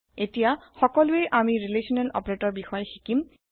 এতিয়া সকলোয়ে আমি ৰিলেচনেল অপাৰেটৰৰ বিষয়ে শিকিম